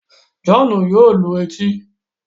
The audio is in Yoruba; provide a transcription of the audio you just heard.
John yóò lù etí